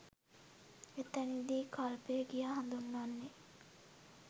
එතැනදී කල්පය කියා හඳුන්වන්නේ